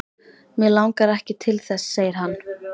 Mig langar ekki til þess segir hann.